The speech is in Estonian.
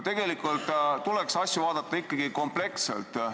Tegelikult tuleks asju vaadata ikkagi kompleksselt.